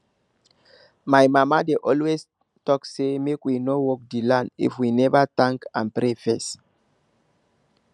my mama dey always talk say make we no work the land if we never thank and pray first